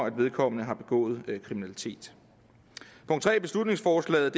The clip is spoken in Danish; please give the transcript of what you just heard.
at vedkommende har begået kriminalitet punkt tre i beslutningsforslaget